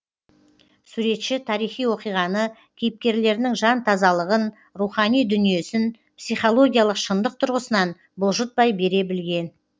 суретші тарихи оқиғаны кейіпкерлерінің жан тазалығын рухани дүниесін психологиялық шындық тұрғысынан бұлжытпай бере білген